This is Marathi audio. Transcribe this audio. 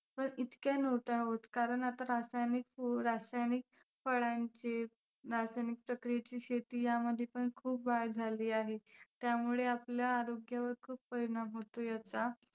पण इतक्या नव्हत्या होत. कारण आता रासायनिक food रासायनिक फळांची रासायनिक प्रक्रियेची शेती यामध्ये पण खूप वाढ झाली आहे. त्यामुळे आपल्या आरोग्यावर खूप परिणाम होतोय याचा.